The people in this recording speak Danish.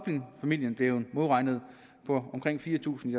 familien blevet modregnet på omkring fire tusind